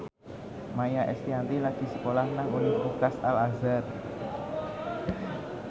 Maia Estianty lagi sekolah nang Universitas Al Azhar